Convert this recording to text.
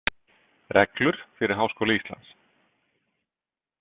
Reglur fyrir Háskóla Íslands.